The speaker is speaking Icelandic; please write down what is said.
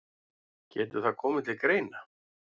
Getur það komið til greina.